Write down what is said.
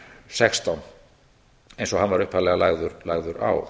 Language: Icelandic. sextán eins og hann upphaflega lagður á